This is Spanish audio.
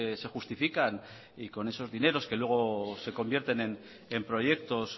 se justifican y con esos dineros que luego se convierten en proyectos